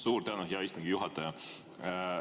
Suur tänu, hea istungi juhataja!